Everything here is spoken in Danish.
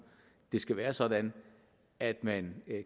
det skal være sådan at man